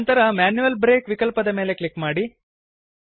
ನಂತರ manual break ವಿಕಲ್ಪದ ಮೇಲೆ ಕ್ಲಿಕ್ ಮಾಡಿ